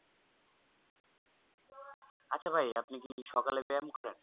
আচ্ছা ভাই আপনি কি সকালে ব্যাম করেন